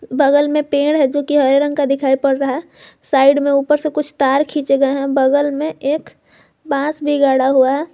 बगल में पेड़ है जोकि हरे रंग का दिखाई पड़ रहा है साइड में ऊपर से कुछ तार खींचे गये हैं बगल में एक बांस भी गाड़ा हुआ है।